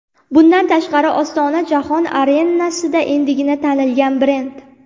Bundan tashqari, Ostona jahon arenasida endigina tanilgan brend.